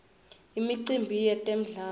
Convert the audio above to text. imicimbi yetemdlalo